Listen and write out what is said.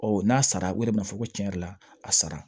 Ɔ n'a sara o de bɛ na fɔ ko tiɲɛ yɛrɛ la a sara